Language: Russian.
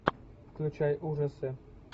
включай ужасы